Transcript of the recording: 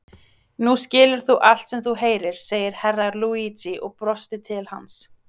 Nú skilur þú allt sem þú heyrir, sagði Herra Luigi og brosti til hans.